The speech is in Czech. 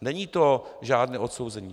Není to žádné odsouzení.